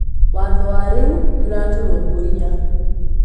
Watho warĩu nĩũra tũrũmbũiya